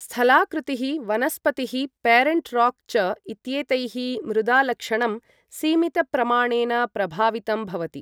स्थलाकृतिः, वनस्पतिः, parent rock च इत्येतैः मृदालक्षणं सीमितप्रमाणेन प्रभावितं भवति।